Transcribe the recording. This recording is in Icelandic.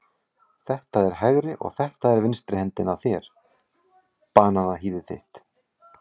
Þetta er hægri og þetta er vinstri hendin á þér, bananahýðið þitt.